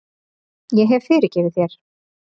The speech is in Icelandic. Ég hef fyrirgefið þér.